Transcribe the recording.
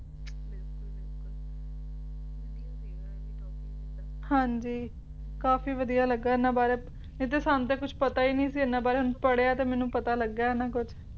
ਹਾਂਜੀ ਕਾਫੀ ਵਧੀਆ ਲੱਗਿਆ ਇਹਨਾਂ ਬਾਰੇ ਨਹੀਂ ਤਾ ਸਾਨੂੰ ਤੇ ਕੁਛ ਪਤਾ ਨਹੀਂ ਸੀ ਇਹਨਾਂ ਬਾਰੇ ਹੁਣ ਪੜ੍ਹਿਆ ਤੇ ਮੈਨੂੰ ਪਤਾ ਲੱਗਿਆ ਹਨਾਂ ਕੁਛ